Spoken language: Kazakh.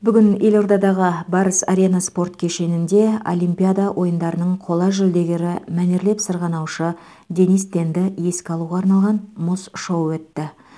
бүгін елордадағы барыс арена спорт кешенінде олимпиада ойындарының қола жүлдегері мәнерлеп сырғанаушы денис тенді еске алуға арналған мұз шоуы өтті